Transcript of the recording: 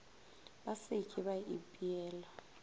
ba se ke ba ipeela